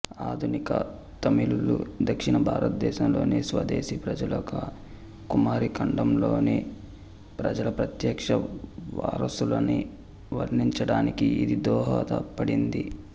ఆధునిక తమిళులు దక్షిణ భారతదేశంలోని స్వదేశీ ప్రజలుగా కుమారి ఖండంలోని ప్రజల ప్రత్యక్ష వారసులని వర్ణించటానికి ఇది దోహదపడింది